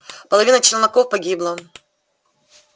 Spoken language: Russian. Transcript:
половина челноков погибла